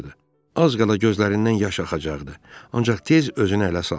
Az qala gözlərindən yaş axacaqdı, ancaq tez özünü ələ saldı.